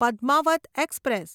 Padmaavat express